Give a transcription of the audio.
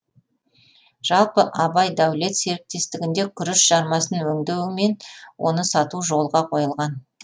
жалпы абай дәулет серіктестігінде күріш жармасын өңдеу мен оны сату жолға қойылған